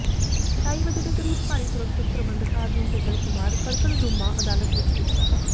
ਢਾਈ ਵਜੇ ਦੇ ਕਰੀਬ ਭਾਰੀ ਸੁਰੱਖਿਆ ਪ੍ਰਬੰਧਾਂ ਅਧੀਨ ਸੱਜਣ ਕੁਮਾਰ ਕੜਕੜਡੂਮਾ ਅਦਾਲਤ ਵਿਚ ਪੁੱਜਾ